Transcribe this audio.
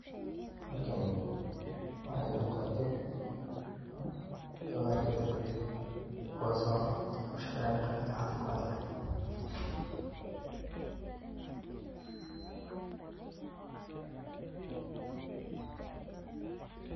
Halkani waxa iiga muuqata gawaariga dabdamiska kuwaaso an ushaqee yan qeebta caafimadka .